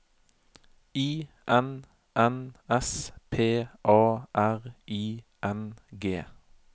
I N N S P A R I N G